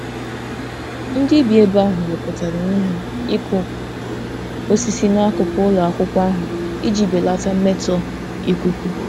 Ndị bi ebe ahụ wepụtara onwe ha ịkụ osisi n'akụkụ ụlọ akwụkwọ ahụ iji belata mmetọ ikuku.